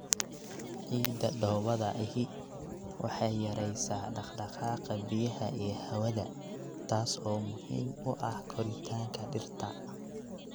Ciidda dhoobada ahi waxay yaraysaa dhaqdhaqaaqa biyaha iyo hawada, taas oo muhiim u ah koritaanka dhirta.